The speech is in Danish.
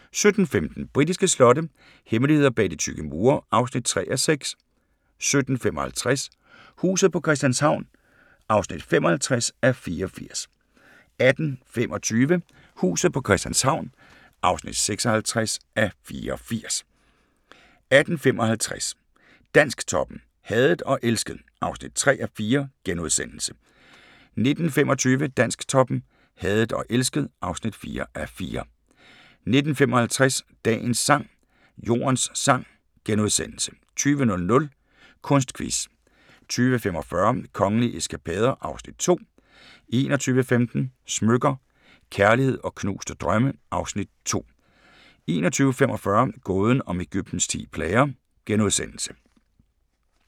17:15: Britiske slotte – hemmeligheder bag de tykke mure (3:6) 17:55: Huset på Christianshavn (55:84) 18:25: Huset på Christianshavn (56:84) 18:55: Dansktoppen: Hadet og elsket (3:4)* 19:25: Dansktoppen: Hadet og elsket (4:4) 19:55: Dagens sang: Jordens sang * 20:00: Kunstquiz 20:45: Kongelige eskapader (Afs. 2) 21:15: Smykker – Kærlighed & knuste drømme (Afs. 2) 21:45: Gåden om Egyptens ti plager *